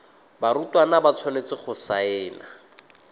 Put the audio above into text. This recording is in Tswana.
barutwana ba tshwanetse go saena